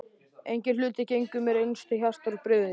Enginn hlutur gengur mér eins til hjarta og bréfin þín.